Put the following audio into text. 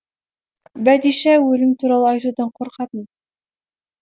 бәдишә өлім туралы айтудан қорқатын